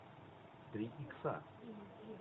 три икса